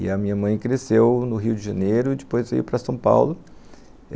E a minha mãe cresceu no Rio de Janeiro, depois veio para São Paulo.